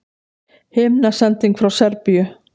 Himnasending frá Serbíu